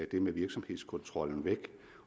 det med virksomhedskontrollen væk